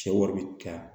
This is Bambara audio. Cɛ wari bi taa